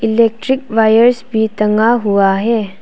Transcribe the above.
Electric wires भी टंगा हुआ है।